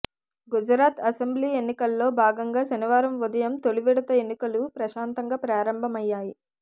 Gujarat assembly ఎన్నికల్లో భాగంగా శనివారం ఉదయం తొలి విడత ఎన్నికలు ప్రశాంతంగా ప్రారంభమయ్యాయి